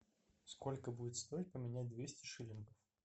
сколько будет стоить поменять двести шиллингов